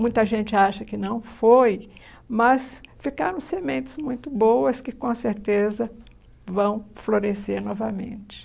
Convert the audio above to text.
Muita gente acha que não foi, mas ficaram sementes muito boas que com certeza vão florescer novamente.